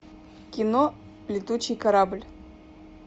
кино летучий корабль